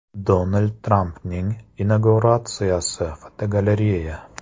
Donald Trampning inauguratsiyasi (fotogalereya).